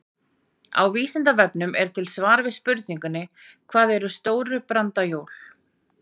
Á Vísindavefnum er til svar við spurningunni Hvað eru stóru brandajól?